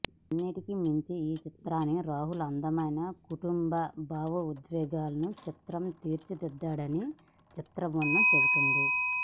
అన్నిటికిమించి ఈ చిత్రాన్ని రాహుల్ అందమైన కుటుంబ భావోద్వేగాల చిత్రంగా తీర్చి దిద్దాడని చిత్రబృందం చెబుతుంది